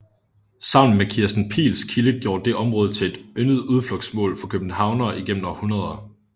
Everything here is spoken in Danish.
Sammen med Kirsten Piils kilde gjorde det området til et yndet udflugtsmål for københavnere igennem århundreder